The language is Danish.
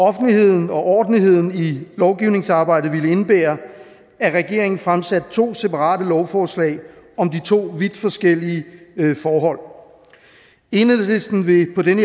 offentligheden og ordentligheden i lovgivningsarbejdet ville det indebære at regeringen fremsatte to separate lovforslag om de to vidt forskellige forhold enhedslisten vil på den